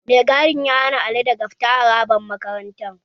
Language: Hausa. Mai gadin ya hana Ali daga fita harabar makarantar